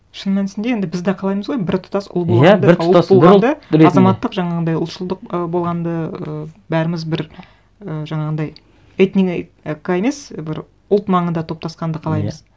шын мәнісінде енді біз де қалаймыз ғой біртұтас ұлт болғанды азаматтық жаңағындай ұлтшылдық ы болғанды ы бәріміз бір і жаңағындай емес бір ұлт маңында топтасқанды қалаймыз